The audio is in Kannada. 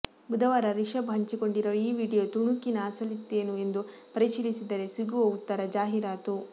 ಬುಧವಾರ ರಿಷಭ್ ಹಂಚಿಕೊಂಡಿರುವ ಈ ವಿಡಿಯೋ ತುಣುಕಿನ ಅಸಲಿತ್ತೇನು ಎಂದು ಪರಿಶೀಲಿಸಿದರೆ ಸಿಗುವ ಉತ್ತರ ಜಾಹೀರಾತು